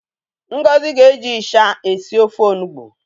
Ngozi ga-eji ịsha esi ofe onugbu.